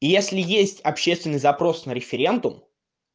если есть общественный запрос на референдум